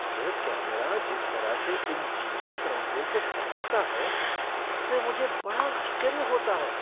यह कैमरा जिस तरह से इन जीवंत रंगों को पकड़ता है उससे मुझे बड़ा आश्चर्य होता है!